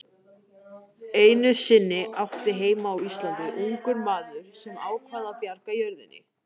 Einu sinni átti heima á Íslandi ungur maður sem ákvað að bjarga jörðinni.